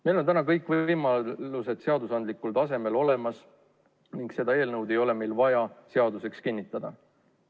Meil on täna kõik võimalused ilusasti seadusandlikul tasemel olemas ning seda eelnõu ei ole meil vaja seadusena vastu võtta.